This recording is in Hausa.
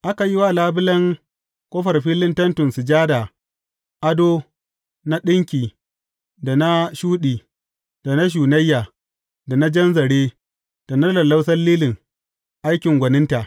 Aka yi wa labulen ƙofar filin Tentin Sujada ado na ɗinki da na shuɗi, da na shunayya, da na jan zare, da na lallausan lilin, aikin gwaninta.